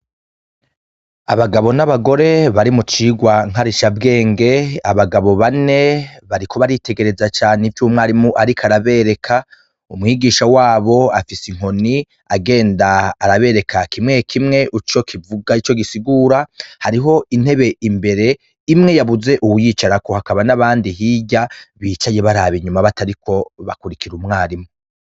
Abagabo n'abagore bari mucirwa nkarisha bwenge, abagabo bane bariko baritegereza ivy umwigisha ariko arabereka, umwigisha wabo afise inkoni agenda arabereka kimwe kimwe ico kivuga ico gisigura ,hariho intebe imbere imwe yabuze uwuyicarako, hakaba n'abandi hirya bicaya barab'inyuma batariko bakurikira umwarimu.